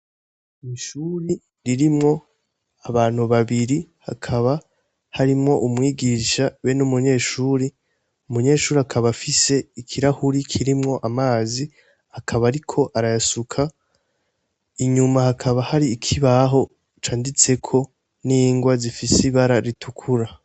Ishuri ririmwo abantu babiri hakaba harimwo umwigisha be n' umunyeshuri umunyeshuri akaba afise ikirahuri kirimwo amazi akaba, ariko arayasuka inyuma hakaba hari ikibaho canditseko n'ingwa zifise ibara rituka.